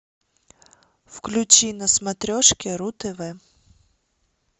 включи на смотрешке ру тв